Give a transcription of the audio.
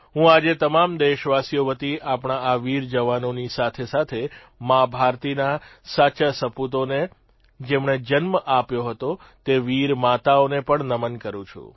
હું આજે તમામ દેશવાસીઓ વતી આપણા આ વીર જવાનોની સાથેસાથે મા ભારતીના સાચા સપૂતોને જેમણે જન્મ આપ્યો હતો તે વીર માતાઓને પણ નમન કરૂં છું